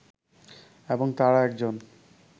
এবং তারা একজন